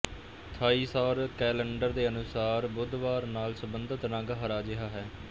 ਥਾਈ ਸੌਰ ਕੈਲੰਡਰ ਦੇ ਅਨੁਸਾਰ ਬੁੱਧਵਾਰ ਨਾਲ ਸੰਬੰਧਤ ਰੰਗ ਹਰਾ ਜਿਹਾ ਹੈ